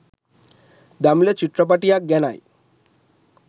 දමිළ චිත්‍රපටියක් ගැනයි